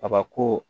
Kabako